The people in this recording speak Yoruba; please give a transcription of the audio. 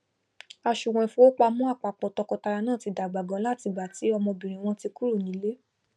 àsùwọn ìfowópamọn àpápọ tọkọtaya náà ti dàgbà ganan látìgbà tí ọmọbìnrin wọn ti kúrò nílé